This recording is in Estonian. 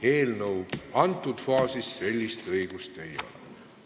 Eelnõu menetluse praeguses faasis sellist õigust ei ole.